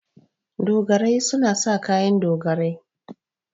Dogarai suna sa kayan dogarai.